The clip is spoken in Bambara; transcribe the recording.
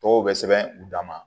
Tɔgɔw bɛ sɛbɛn u dama